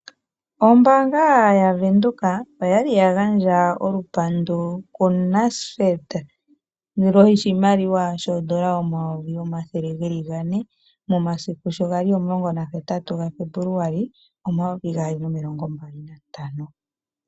Ombaanga yavenduka oyali ya gandja olupandu kuNasfed, ongushu yoshimaliwa oondola omayovi omathele geli gane, momasiku shogali omulongo nahetatu ga Febuluali, omumvo omayovi gaali nomilongo mbali nantano.